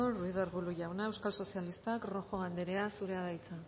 ruiz de arbulo jauna euskal sozialistak rojo anderea zurea da hitza